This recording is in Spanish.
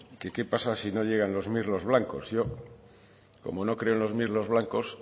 que qué pasa si no llegan los mirlos blancos yo como no creo en los mirlos blancos